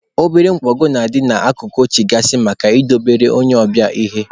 Obere nkwago na-adị n'akụkụ oche gaasị maka idobelu onye ọbịa ihe.